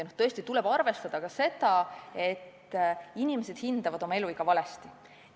Tõesti tuleb arvestada ka seda, et inimesed hindavad oma eluiga valesti.